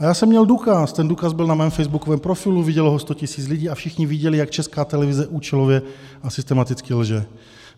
A já jsem měl důkaz, ten důkaz byl na mém facebookovém profilu, vidělo ho 100 000 lidí, a všichni viděli, jak Česká televize účelově a systematicky lže.